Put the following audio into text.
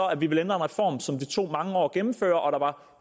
at vi vil ændre en reform som det tog mange år at gennemføre